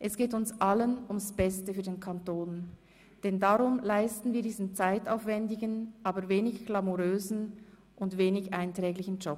Es geht uns allen ums Beste für den Kanton, denn darum leisten wir diesen zeitaufwändigen, aber wenig glamourösen und wenig einträglichen Job.